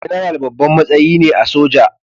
General babban matsayi ne a soja